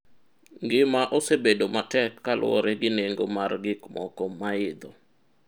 ngima osebedo matek kaluwore gi nengo mar gik moko ma idho